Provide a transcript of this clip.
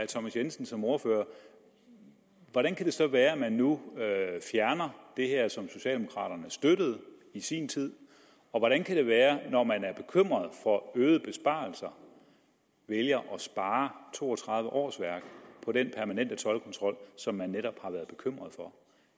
thomas jensen som ordfører hvordan kan det så være at man nu fjerner det her som socialdemokraterne støttede i sin tid og hvordan kan det være at man når man er bekymret for øgede besparelser vælger at spare to og tredive årsværk på den permanente toldkontrol som man netop har været bekymret for